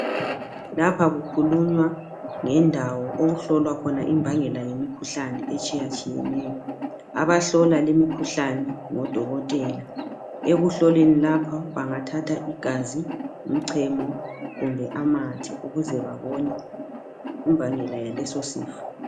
Lapha kukhulunywa ngendawo okuhlolwa khona imbangela yemikhuhlane etshiyatshiyeneyo. Abahlola limikhuhlane ngodokotela , ekuhloleni lapha bengathatha igazi, umchemo kumbe amathe ukuze babone imbangela yaleso sifo.